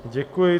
Děkuji.